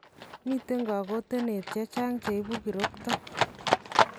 Miten kakoteneet chechang che ibuu kirokto